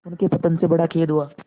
उनके पतन से बड़ा खेद हुआ